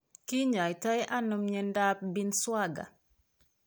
Ki nyaitonano myentaap Binswanger?